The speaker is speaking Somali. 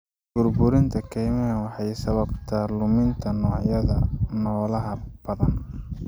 Burburinta kaymaha waxay sababtaa luminta noocyada noolaha badan.